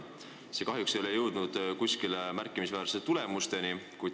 See kahjuks ei ole jõudnud mingite märkimisväärsete tulemusteni.